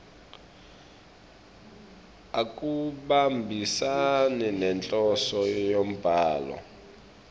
akuhambisani nenhloso yembhalo